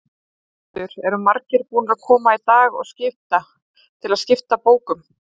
Höskuldur: Eru margir búnir að koma í dag og skipta, til að skipta bókum?